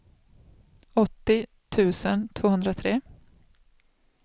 åttio tusen tvåhundratre